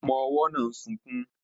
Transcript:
Ọmọ-ọwọ́ náà ń sunkún